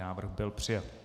Návrh byl přijat.